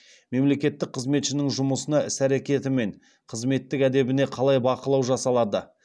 мемлекеттік қызметшінің жұмысына іс әрекеті мен қызметтік әдебіне қалай бақылау жасалады